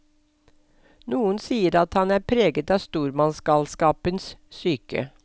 Noen sier at han er preget av stormannsgalskapens syke.